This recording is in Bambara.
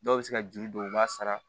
Dɔw bɛ se ka juru don u b'a sara